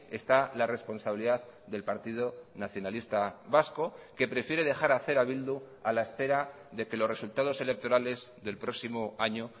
está la responsabilidad del partido nacionalista vasco que prefiere dejar hacer a bildu a la espera de que los resultados electorales del próximo año